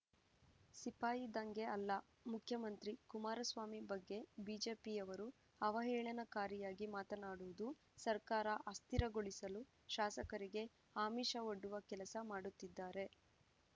ಸಿಪಾಯಿ ದಂಗೆ ಅಲ್ಲ ಮುಖ್ಯಮಂತ್ರಿ ಕುಮಾರಸ್ವಾಮಿ ಬಗ್ಗೆ ಬಿಜೆಪಿಯವರು ಅವಹೇಳನಕಾರಿಯಾಗಿ ಮಾತನಾಡುವುದು ಸರ್ಕಾರ ಅಸ್ಥಿರಗೊಳಿಸಲು ಶಾಸಕರಿಗೆ ಆಮಿಷ ಒಡ್ಡುವ ಕೆಲಸ ಮಾಡುತ್ತಿದ್ದಾರೆ